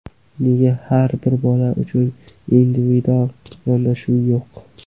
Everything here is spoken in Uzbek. Nega har bir bola uchun individual yondashuv yo‘q?